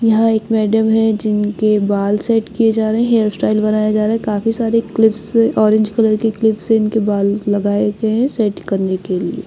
यहां एक मैडम है जिनके बाल सेट किए जा रहे हैं हेयर स्टाइल बनाया जा रहा है काफी सारे क्लिप्स ऑरेंज कलर के क्लिप से इनके बाल लगाए गए हैं सेट करने के लिए--